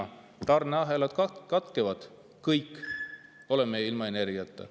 Kui tarneahelad katkevad – kõik, oleme ilma energiata.